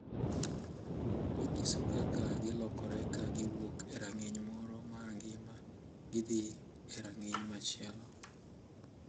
Onyiso kaka gilokore ka giwuok e rang’iny moro mar ngima gidhi e rang’iny machielo.